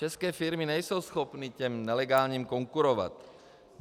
České firmy nejsou schopny těm nelegálním konkurovat.